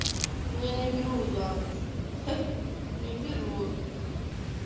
меня не берут замуж не берут